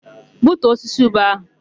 Gbutuo osisi ube áhụ̀!